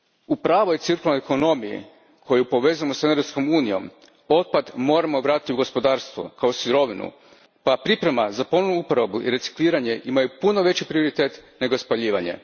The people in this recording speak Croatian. U pravoj cirkularnoj ekonomiji koju povezujemo s energetskom unijom otpad moramo vratiti u gospodarstvo kao sirovinu, pa priprema za ponovnu uporabu i recikliranje imaju puno veći prioritet nego spaljivanje.